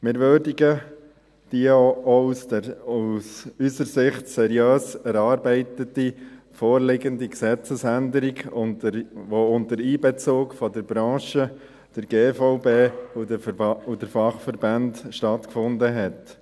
Wir würdigen die auch aus unserer Sicht seriös erarbeitete vorliegende Gesetzesänderung, die unter Einbezug der Branche, der GVB und der Fachverbände entstanden ist.